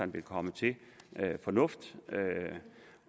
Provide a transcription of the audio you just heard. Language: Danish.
vil komme til fornuft